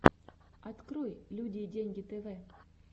открой люди и деньги тэвэ